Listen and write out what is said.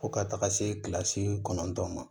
Fo ka taga se kilasi kɔnɔntɔn ma